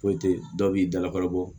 Foyi tɛ dɔw b'i dalakalo bɔ